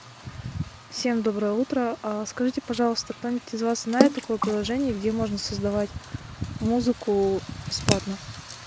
всем доброе утро скажите пожалуйста кто-нибудь из вас знает такое приложение где можно создавать музыку бесплатно